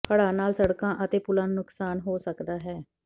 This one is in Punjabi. ਹੜ੍ਹਾਂ ਨਾਲ ਸੜਕਾਂ ਅਤੇ ਪੁਲਾਂ ਨੂੰ ਨੁਕਸਾਨ ਹੋ ਸਕਦਾ ਹੈ